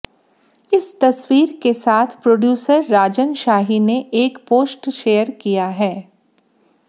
इस तस्वीर के साथ प्रोड्यूसर राजन शाही ने एक पोस्ट शेयर किया है